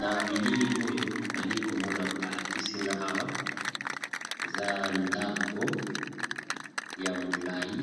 Na bilili oyo nali komona ba lakisi nga awa eza ndako ya molayi,